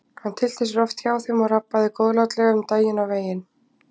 Hann tyllti sér oft hjá þeim og rabbaði góðlátlega um daginn og veginn.